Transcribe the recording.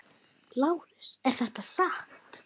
LÁRUS: Er það satt?